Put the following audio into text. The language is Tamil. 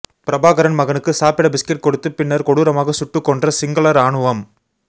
பிரபாகரன் மகனுக்கு சாப்பிட பிஸ்கட் கொடுத்து பின்னர் கொடூரமாக சுட்டுக் கொன்ற சிங்கள ராணுவம்